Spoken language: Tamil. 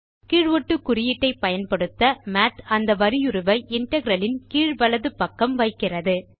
கீழ் ஒட்டு குறியீட்டை பயன்படுத்த மாத் அந்த வரியுருவை இன்டெக்ரல் இன் கீழ் வலது பக்கம் வைக்கிறது